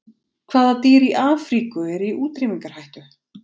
Hvaða dýr í Afríku eru í útrýmingarhættu?